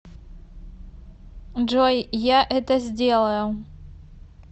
джой я это сделаю